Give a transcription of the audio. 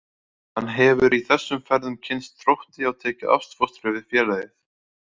Hann hefur í þessum ferðum kynnst Þrótti og tekið ástfóstri við félagið.